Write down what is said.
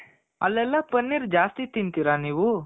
ಅಲ್ಲೆಲ್ಲ ಪನ್ನೀರ್ ಜಾಸ್ತಿ ತಿಂತಿರ ನೀವು .